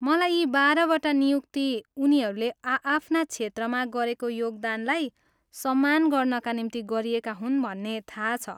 मलाई यी बाह्र वटा नियुक्ती उनीहरूले आआफ्ना क्षेत्रमा गरेको योगदानलाई सम्मान गर्नाका निम्ति गरिएका हुन् भन्ने थाहा छ।